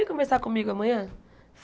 Vem conversar comigo amanhã?